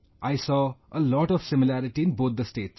I saw a lot of similarity in both the states